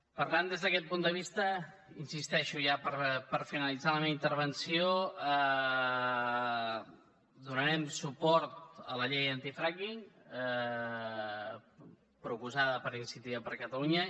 per tant des d’aquest punt de vista hi insisteixo ja per finalitzar la meva intervenció donarem suport a la llei antifracking proposada per iniciativa per catalunya